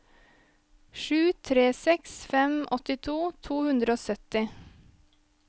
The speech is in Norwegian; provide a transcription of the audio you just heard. sju tre seks fem åttito to hundre og sytti